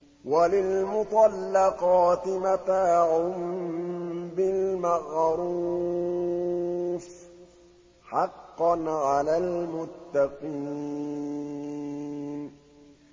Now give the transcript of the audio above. وَلِلْمُطَلَّقَاتِ مَتَاعٌ بِالْمَعْرُوفِ ۖ حَقًّا عَلَى الْمُتَّقِينَ